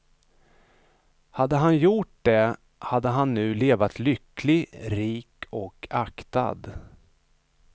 Hade han gjort det hade han nu levat lycklig, rik och aktad.